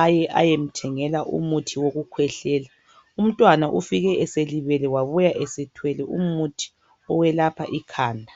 aye ayemthengela umuthi wokukhwehlela, umntwana ufike eselibele wabuya esethwele umuthi owelapha ikhanda.